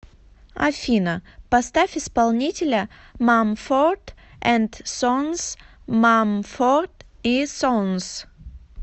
афина поставь исполнителя мамфорд энд сонс мамфорд и сонс